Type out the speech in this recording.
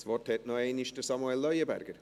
Das Wort hat noch einmal Samuel Leuenberger.